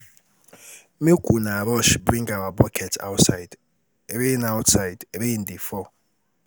Make una rush bring our bucket outside rain outside rain dey fall